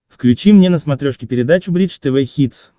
включи мне на смотрешке передачу бридж тв хитс